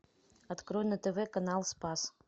открой на тв канал спас